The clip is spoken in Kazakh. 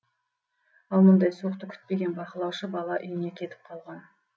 ал мұндай суықты күтпеген бақылаушы бала үйіне кетіп қалған